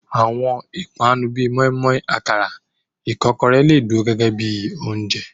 Àwọn ìpani bíi móímóí, àkàrà, ìkọ́kọrẹ́, lè dúró gégé bíi oúnjẹ.